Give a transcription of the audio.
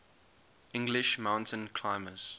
english mountain climbers